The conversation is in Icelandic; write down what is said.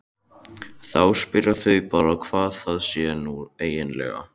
Þá spyrja þau bara hvað það sé nú eiginlega.